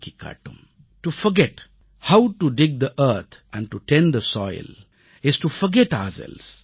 to forget how to dig the earth and to tend the soil is to forget ourselves